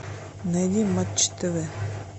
найди матч тв